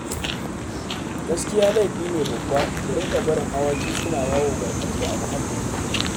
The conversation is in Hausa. Gaskiya laifi ne babba ku dinga barin awaki suna yawo barkatai a muhallinku